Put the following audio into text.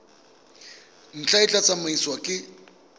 ntlha e tla tsamaisiwa ke